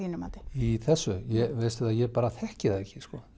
í þessu veistu ég bara þekki það ekki